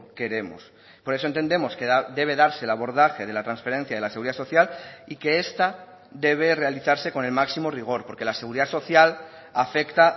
queremos por eso entendemos que debe darse el abordaje de la transferencia de la seguridad social y que esta debe realizarse con el máximo rigor porque la seguridad social afecta